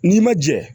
N'i ma jɛ